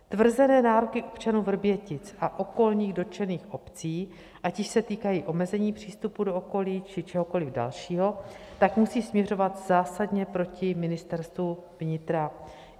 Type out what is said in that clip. Tvrzené nároky občanů Vrbětic a okolních dotčených obcí, ať již se týkají omezení přístupu do okolí, či čehokoliv dalšího, tak musí směřovat zásadně proti Ministerstvu vnitra.